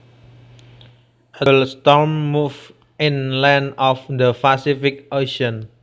A terrible storm moved inland off the Pacific Ocean